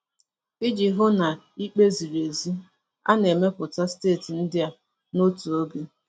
Iji hụ na ikpe ziri ezi, a na-emepụta steeti ndị a n'otu oge.